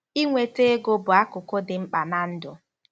Ị nweta ego bụ akụkụ dị mkpa ná ndụ.